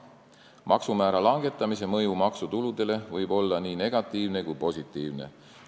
Maksumäära langetamise mõju maksutuludele võib olla nii negatiivne kui ka positiivne.